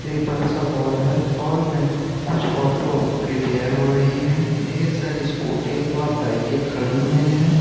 एक बड़ा सा हॉल है। हॉल में कुछ ऑटो रिपेयर हो रहीं हैं ढेर सारी स्कूटी व बाइके खड़ी हुई हैं।